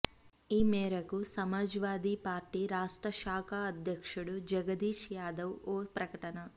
ఈ మేరకు Samajwadi party రాష్ట్ర శాఖ అధ్యక్షుడు జగదీష్ యాదవ్ ఓ ప్రకటన